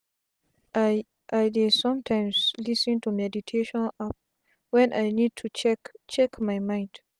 i i dey sometimes lis ten to meditation app when i need to check check my mind.